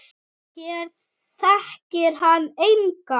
Hér þekkir hann engan.